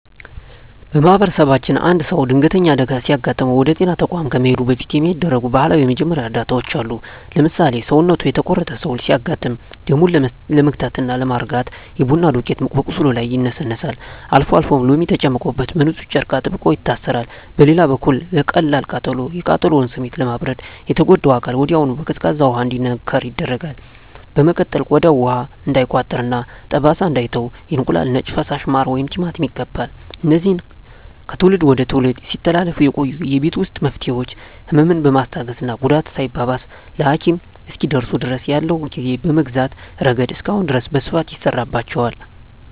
በማኅበረሰባችን አንድ ሰው ድንገተኛ አደጋ ሲገጥመው ወደ ጤና ተቋም ከመሄዱ በፊት የሚደረጉ ባህላዊ የመጀመሪያ እርዳታዎች አሉ። ለምሳሌ፣ ሰውነቱ የተቆረጠ ሰው ሲያጋጥም ደሙን ለመግታትና ለማርጋት የቡና ዱቄት በቁስሉ ላይ ይነሰነሳል፤ አልፎ አልፎም ሎሚ ተጨምቆበት በንፁህ ጨርቅ አጥብቆ ይታሰራል። በሌላ በኩል ለቀላል ቃጠሎ፣ የቃጠሎውን ስሜት ለማብረድ የተጎዳው አካል ወዲያውኑ በቀዝቃዛ ውሃ እንዲነከር ይደረጋል። በመቀጠልም ቆዳው ውሃ እንዳይቋጥርና ጠባሳ እንዳይተው የእንቁላል ነጭ ፈሳሽ፣ ማር ወይም ቲማቲም ይቀባል። እነዚህ ከትውልድ ወደ ትውልድ ሲተላለፉ የቆዩ የቤት ውስጥ መፍትሄዎች፣ ህመምን በማስታገስና ጉዳቱ ሳይባባስ ለሐኪም እስኪደርሱ ድረስ ያለውን ጊዜ በመግዛት ረገድ እስካሁን ድረስ በስፋት ይሠራባቸዋል።